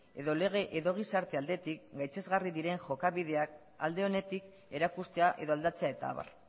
edo lege edo gizarte aldetik gaitzesgarri diren jokabideak alde onetik erakustea edo aldatzea eta abar